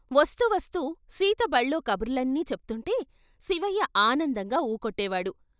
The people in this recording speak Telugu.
వస్తూ వస్తూ సీత బళ్ళో కబుర్లన్నీ చెప్తుంటే శివయ్య ఆనందంగా ఊకొట్టేవాడు.